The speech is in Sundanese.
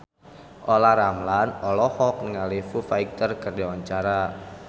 Olla Ramlan olohok ningali Foo Fighter keur diwawancara